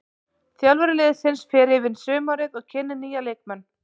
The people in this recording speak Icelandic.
Þjálfari liðsins fer yfir sumarið og kynnir nýja leikmenn.